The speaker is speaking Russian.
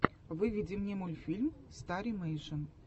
выведи мне мультфильм старимэйшн